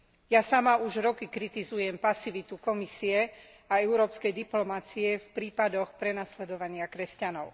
Ja sama už roky kritizujem pasivitu Komisie a európskej diplomacie v prípadoch prenasledovania kresťanov.